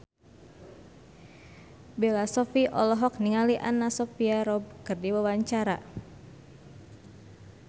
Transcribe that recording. Bella Shofie olohok ningali Anna Sophia Robb keur diwawancara